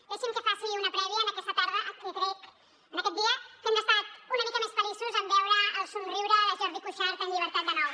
deixi’m que faci una prèvia en aquesta tarda en què crec en aquest dia que hem estat una mica més feliços en veure el somriure de jordi cuixart en llibertat de nou